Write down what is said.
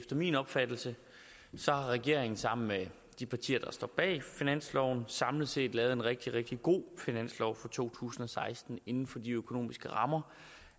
min opfattelse har regeringen sammen med de partier der står bag finansloven samlet set lavet en rigtig rigtig god finanslov for to tusind og seksten inden for de økonomiske rammer